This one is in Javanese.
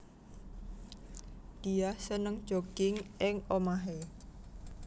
Diah seneng jogging ing omahé